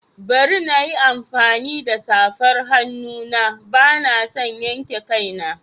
Bari na yi amfani da safar hannu na, ba na son yanke kaina.